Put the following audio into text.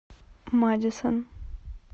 мадисон